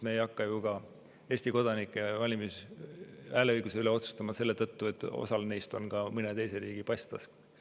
Me ei hakka ju ka Eesti kodanike valimis‑ ja hääleõiguse üle otsustama selle tõttu, et osal neist on ka mõne teise riigi pass taskus.